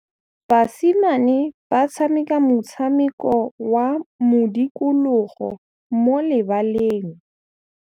Basimane ba tshameka motshameko wa modikologô mo lebaleng.